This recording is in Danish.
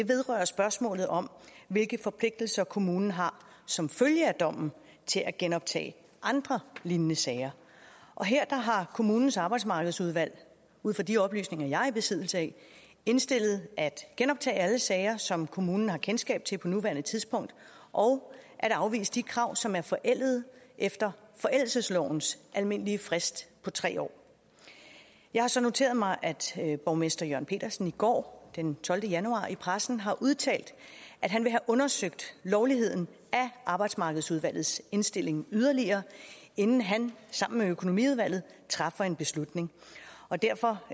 vedrører spørgsmålet om hvilke forpligtelser kommunen har som følge af dommen til at genoptage andre lignende sager og her har kommunens arbejdsmarkedsudvalg ud fra de oplysninger jeg er i besiddelse af indstillet at man genoptage alle sager som kommunen har kendskab til på nuværende tidspunkt og afvise de krav som er forældede efter forældelseslovens almindelige frist på tre år jeg har så noteret mig at borgmester jørn pedersen i går den tolvte januar i pressen har udtalt at han vil have undersøgt lovligheden af arbejdsmarkedsudvalgets indstilling yderligere inden han sammen med økonomiudvalget træffer en beslutning derfor